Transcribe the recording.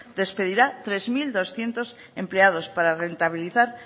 despedirá tres mil doscientos empleados para rentabilizar